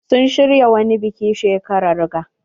Sun shirya wani biki shekarar ga.